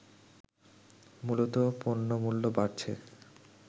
মূলত পণ্যমূল্য বাড়ছে